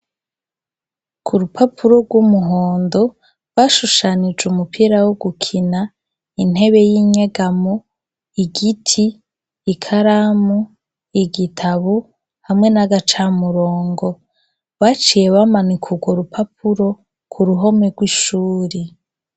Ku rupapuro rw'umuhondo bashushanije umupira wo gukina intebe y'inyegamo, igiti ikaramu, igitabu hamwe n'agacamurongo. Baciye bamanika urwo rupapuro ku ruhome rw'ishure.